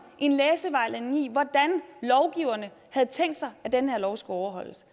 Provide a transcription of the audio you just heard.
en læsevejledning i hvordan lovgiverne havde tænkt sig at den her lov skulle overholdes